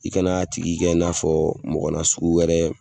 I kan'a tigi kɛ i n'a fɔ mɔgɔ nasugu wɛrɛ